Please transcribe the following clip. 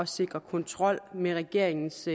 sikre kontrol med regeringens